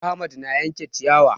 Ahmad na yanke ciyawa